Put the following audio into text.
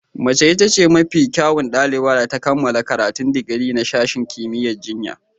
Mace ita ce mafi kyawun ɗaliban da ta kammala karatun digiri na sashen kimiyyar jinya.